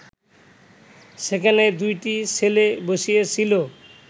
সেখানে দুটি ছেলে বসিয়াছিল